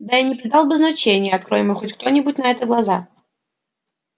да и не придал бы значения открой ему кто-нибудь на это глаза